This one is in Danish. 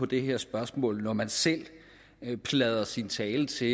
det her spørgsmål altså når man selv pladrer sin tale til